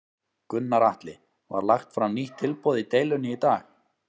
Gunnar Atli: Var lagt fram nýtt tilboð í deilunni í dag?